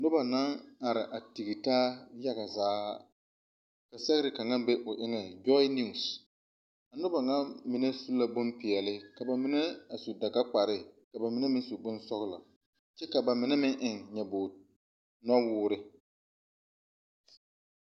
Noba la are tigitaa yaga zaa kyɛ ka ba sɛge marezie kaŋ ka ''joy news''.A noba mine su la bon peɛle kyɛ ka bamine meŋ su dagakpar. Bamine meŋ su la bon sɔglɔ. A noba mine meŋ eŋla nyoboowuure.